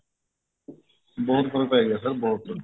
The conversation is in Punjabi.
ਬਹੁਤ ਫਰਕ ਪੈ ਗਿਆ sir ਬਹੁਤ ਜਿਆਦਾ